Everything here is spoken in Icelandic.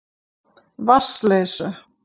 Vatnsleysu